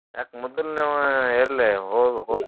ಯಾಕ ಮೊದ್ಲೇಯಾಂವ ಎಲ್ಲಿ ಹೋದ್ ಹೋದ್ನ .